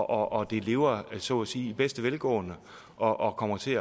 og og det lever så at sige i bedste velgående og og kommer til